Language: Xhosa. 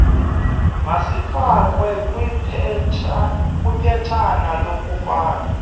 mazifakwe kwiphetshana lokufaka